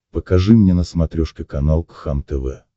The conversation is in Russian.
покажи мне на смотрешке канал кхлм тв